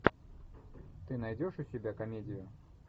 ты найдешь у себя комедию